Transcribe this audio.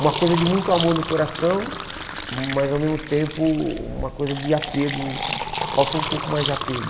Uma coisa de muito amor no coração, mas ao mesmo tempo uma coisa de apego, faltou um pouco mais de apego.